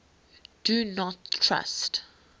do not trust